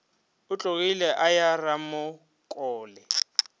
o tlogile a ya ramokole